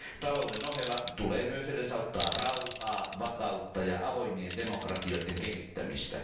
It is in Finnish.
Talouden ohella tulee myös edesauttaa rauhaa, vakautta ja avoimien demokratioiden kehittämistä.